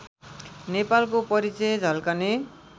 नेपालको परिचय झल्कने